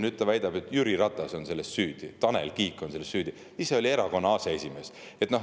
Nüüd ta väidab, et Jüri Ratas on selles süüdi, Tanel Kiik on selles süüdi – ise oli erakonna aseesimees.